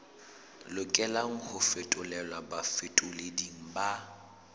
lokelang ho fetolelwa bafetoleding ba